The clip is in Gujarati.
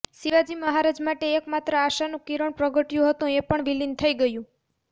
શિવાજી મહારાજ માટે એક માત્ર આશાનું કિરણ પ્રગટ્યું હતું એ પણ વિલીન થઈ ગયું